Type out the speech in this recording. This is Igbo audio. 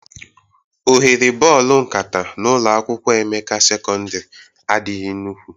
Oghere bọọlụ nkata n'ụlọ akwụkwọ Emeka sekọndrị adịghị nnukwu